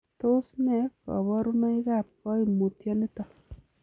Tos nee koborunoikab koimutioniton?